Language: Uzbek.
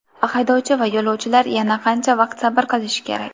Haydovchi va yo‘lovchilar yana qancha vaqt sabr qilishi kerak?